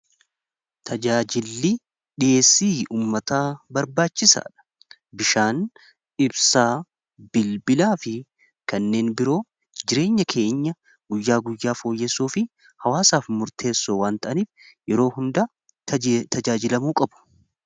Tajaajilli dhiyeessii ummataa barbaachisaa dha bishaan dhibsaa bilbilaa fi kanneen biroo jireenya keenya guyyaa guyyaa fooyyessuu fi hawaasaaf murteessoo waan ta'aniif yeroo hundaa tajaajilamuu qabu.